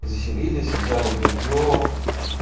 заселились взяли белье